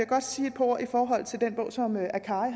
godt sige et par ord i forhold til den bog som ahmed akkari